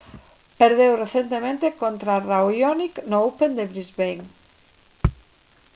perdeu recentemente contra raonic no open de brisbane